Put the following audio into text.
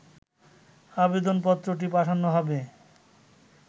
আবেদনপত্রটি পাঠানো হবে